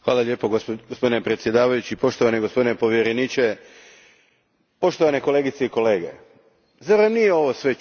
Gospodine predsjedniče, poštovani gospodine povjereniče, poštovane kolegice i kolege, zar vam nije ovo sve čudno?